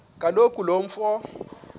kaloku lo mfo